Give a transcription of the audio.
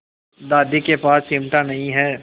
दादी के पास चिमटा नहीं है